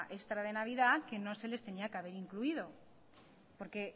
extra de navidad que no se les tenía que haber incluido porque